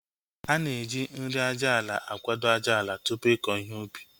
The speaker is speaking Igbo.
Ana eji nri aja ala akwado ájáala tupu ịkọ ihe ubi